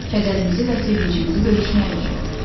Kədərimizi və sevincimizi bölüşmək üçün.